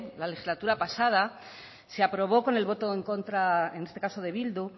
la legislatura pasada se aprobó con el voto en contra en este caso de bildu